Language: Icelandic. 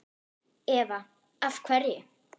Eva: Af hverju?